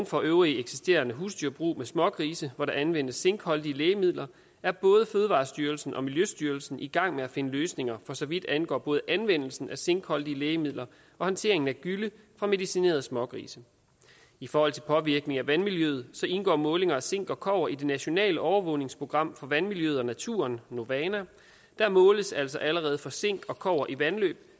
for øvrige eksisterende husdyrbrug med smågrise hvor der anvendes zinkholdige lægemidler er både fødevarestyrelsen og miljøstyrelsen i gang med at finde løsninger for så vidt angår både anvendelsen af zinkholdige lægemidler og håndteringen af gylle fra medicinerede smågrise i forhold til påvirkning af vandmiljøet indgår målinger af zink og kobber i det nationale overvågningsprogram for vandmiljøet og naturen novana der måles altså allerede for zink og kobber i vandløb